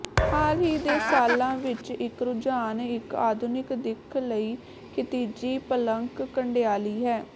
ਹਾਲ ਹੀ ਦੇ ਸਾਲਾਂ ਵਿੱਚ ਇੱਕ ਰੁਝਾਨ ਇੱਕ ਆਧੁਨਿਕ ਦਿੱਖ ਲਈ ਖਿਤਿਜੀ ਪਲੰਕ ਕੰਡਿਆਲੀ ਹੈ